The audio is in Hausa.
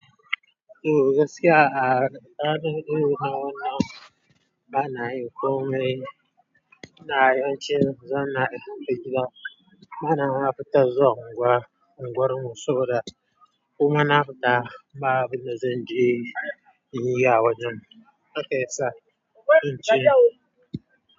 To gaskiya a da ɗanɗano na wannan ba na yi komai. Na yi cewa zan iya fita. Ba na haftar zuwa unguwar unguwarmu saboda kuma na nariga na abin da zan je in yi a wajen. Na kai sa, in ce.